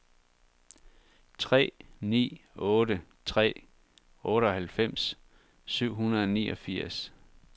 tre ni otte tre otteoghalvfems syv hundrede og niogfirs